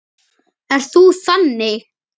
Ert þú þannig?